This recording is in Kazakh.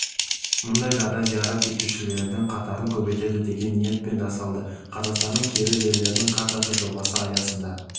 мұндай жағдай зиярат етушілердің қатарын көбейтеді деген ниетпен жасалды қазақстанның киелі жерлерінің картасы жобасы аясында